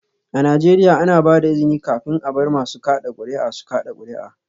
A Najeriya, ana ba da izini kafin a bar masu kada kuri'a su kada kuri'a